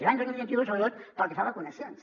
l’any dos mil vint u sobretot pel que fa a vacunacions